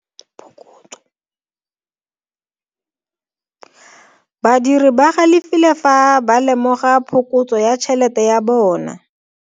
Badiri ba galefile fa ba lemoga phokotso ya tšhelete ya bone.